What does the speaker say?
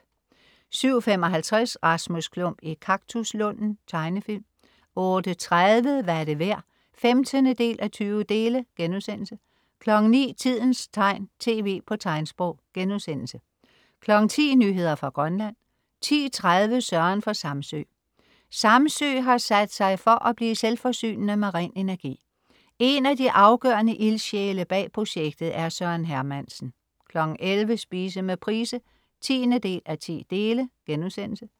07.55 Rasmus Klump i kaktuslunden. Tegnefilm 08.30 Hvad er det værd? 15:20* 09.00 Tidens tegn, tv på tegnsprog* 10.00 Nyheder fra Grønland 10.30 Søren fra Samsø. Samsø har sat sig for at blive selvforsynende med ren energi. En af de afgørende ildsjæle bag projektet er Søren Hermansen 11.00 Spise med Price 10:10*